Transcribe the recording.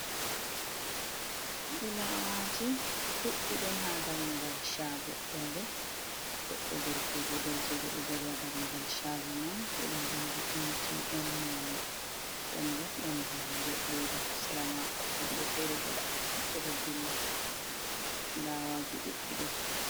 Flawaji ɗuɗɗi ɗon ha dammugal shago, ɗon bo goɗɗo, gorkojo, nderkejo ɗo daribha dammugal shago man ɓe do bindi mtn moni, ɗon bo ɗon buhure leda hasira mako woɓɓe fere bo ɓe tati ɓe ɗo dilla flawaji duɗɗi ɗon.